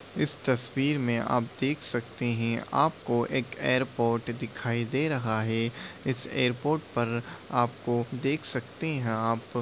इस तस्वीर में आप देख सकते है आपको एक एयरपोर्ट दिखाई दे रहा है। इस एयरपोर्ट पर आपको देख सकते है आप --